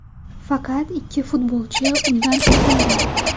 Faqat ikki futbolchi undan oldinda.